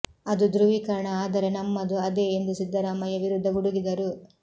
ಅದು ಧ್ರುವೀಕರಣ ಆದರೆ ನಮ್ಮದು ಅದೆ ಎಂದು ಸಿದ್ದರಾಮಯ್ಯ ವಿರುದ್ಧ ಗುಡುಗಿದರು